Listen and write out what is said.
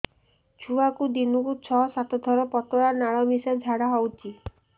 ଛୁଆକୁ ଦିନକୁ ଛଅ ସାତ ଥର ପତଳା ନାଳ ମିଶା ଝାଡ଼ା ହଉଚି